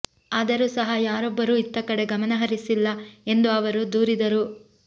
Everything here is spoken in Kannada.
ಆದರೂ ಸಹ ಯಾರೊಬ್ಬರೂ ಇತ್ತ ಕಡೆ ಗಮನ ಹರಿಸಿಲ್ಲ ಎಂದು ಅವರು ದೂರಿದರು